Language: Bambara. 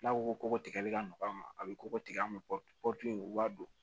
N'a ko ko tigɛli ka nɔgɔ a ma a bɛ koko tigɛ an bɛ kɔti u b'a dun